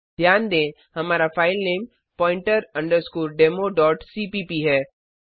ध्यान दें हमारा फाइलनेम पॉइंटर अंडरस्कोर demoसीपीप है